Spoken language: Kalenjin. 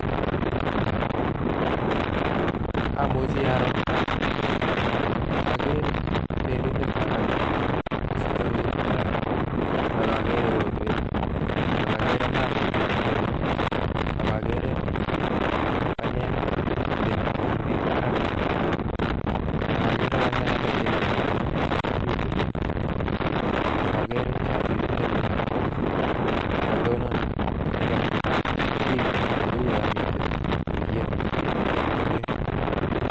Imuchi aroo okere belindetab banyek kosute eut barak ak okere rotwet ak okere maat neliplipeni ak okere banyek chemiten karnet barak ak okere banyek alak chemiten oriit oliin ak okere shatit nelel nebo chito nekatonon tekeet ak biik cheuu yomiten tuyet nemiten leet oliin.